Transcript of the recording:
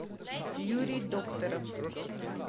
юрий докторов